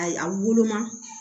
Ayi a woloma